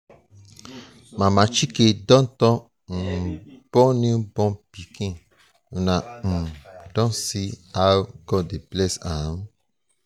mama chike don um born new pikin una um don see how god dey bless am?